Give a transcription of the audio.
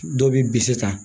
Dɔw bɛ bisi ta